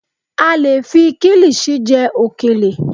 A lè fi Kilisi jẹ òkèlè.